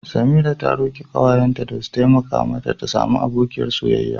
Samira ta roki kawayenta da su taimaka mata ta samu abokiyar soyayya.